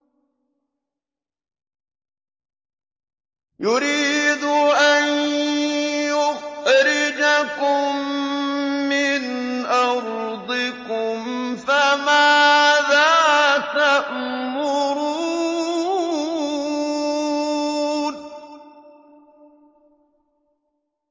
يُرِيدُ أَن يُخْرِجَكُم مِّنْ أَرْضِكُمْ ۖ فَمَاذَا تَأْمُرُونَ